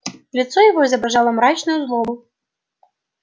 лицо его изображало мрачную злобу